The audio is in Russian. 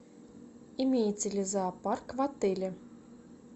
имеется ли зоопарк в отеле